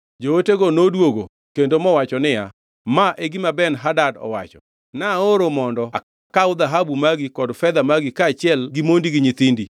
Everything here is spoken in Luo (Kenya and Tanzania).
Jootego noduogo kendo mowacho niya, “Ma e gima Ben-Hadad owacho: ‘Naoro mondo akaw dhahabu magi kod fedha magi kaachiel gi mondi gi nyithindi.